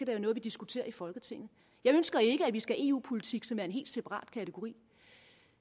være noget vi diskuterer i folketinget jeg ønsker ikke at vi skal have eu politik som en helt separat kategori